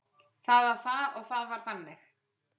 Það var það og það var þannig.